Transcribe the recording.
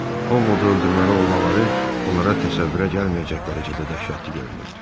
Ovodu öldürməli olmaları onlara təsəvvürə gəlməyəcək dərəcədə dəhşətli görünürdü.